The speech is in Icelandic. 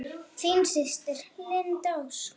Þín systir, Linda Ósk.